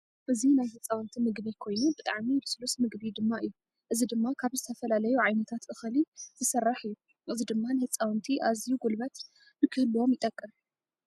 እዚ ናይ ህፃውንቲ ምግቢ ኮይኑ ብጣዕሚ ልስሉስ ምግቢ ድማ እዩ። እዚ ድማ ካብ ዝተፈላለዩ ዓይነታት እክሊ ዝተደርሓ እዩ። እዚ ድማ ንህፃውንቲ ኣዝዩ ጉልበት ንክህልዎም ይጠቅም።